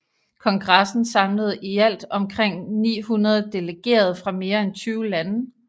Kongressen samlede i alt omkring 900 delegerede fra mere end 20 lande